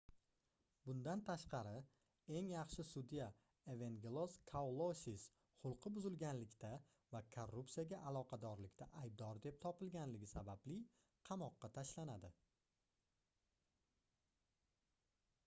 bundan tashqari eng yaxshi sudya evengelos kalousis xulqi buzilganlikda va korrupsiyaga aloqadorlikda aybdor deb topilganligi sababli qamoqqa tashlanadi